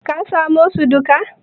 ka samo su duka?